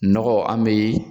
Nɔgɔ an mee